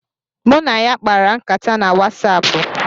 Mụ na ya kpara nkata na Wasaapu